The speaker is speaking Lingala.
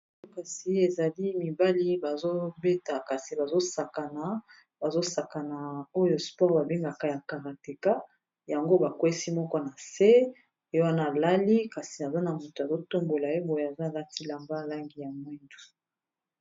Kasi ezali, mibali ba zobeta, kasi bazo sakana. Bazo sakana oyo sport ba bengaka ya karateka. Yango ba kwesi moko na se ye wana alali. Kasi aza na motu azo tombola ye. boye aza alati elamba langi ya mwindu.